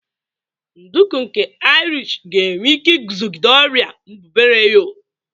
Nduku nke Irish ga-enwe ike iguzogide ọrịa mbubreyo.